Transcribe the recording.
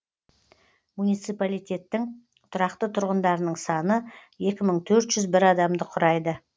муниципалитеттің тұрақты тұрғындарының саны екі мың төрт жүз бір адамды құрайды